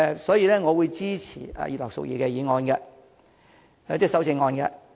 所以，我會支持葉劉淑儀議員的修正案。